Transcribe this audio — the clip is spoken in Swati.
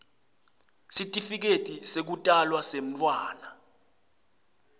sitifiketi sekutalwa semntfwana